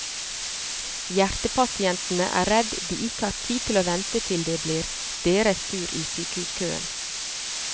Hjertepasientene er redd de ikke har tid til å vente til det blir deres tur i sykehuskøen.